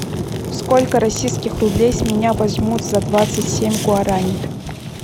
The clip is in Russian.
сколько российских рублей с меня возьмут за двадцать семь гуарани